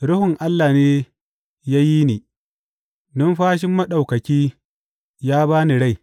Ruhun Allah ne ya yi ni; numfashin Maɗaukaki ya ba ni rai.